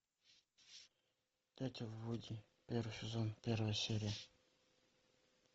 дятел вуди первый сезон первая серия